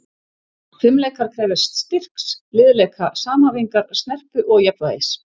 Fimleikar krefjast styrks, liðleika, samhæfingar, snerpu og jafnvægis.